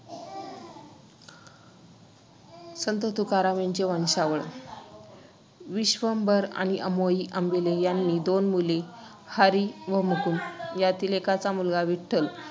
संत तुकाराम यांची वंशावळ. विश्वंभर आणि आमाई अंबिले यांना दोन मुले - हरि व मुकुंद. यांतील एकाचा मुलगा विठ्ठल